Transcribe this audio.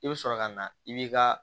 I bɛ sɔrɔ ka na i b'i ka